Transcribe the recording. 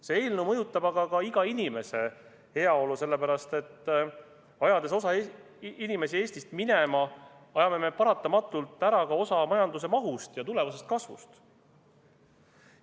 See eelnõu mõjutab aga ka iga inimese heaolu, sellepärast et ajades osa inimesi Eestist minema, ajame me paratamatult ära ka osa majanduse mahust ja tulevasest kasvust.